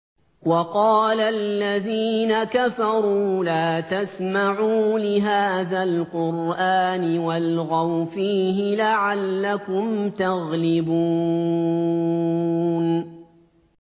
وَقَالَ الَّذِينَ كَفَرُوا لَا تَسْمَعُوا لِهَٰذَا الْقُرْآنِ وَالْغَوْا فِيهِ لَعَلَّكُمْ تَغْلِبُونَ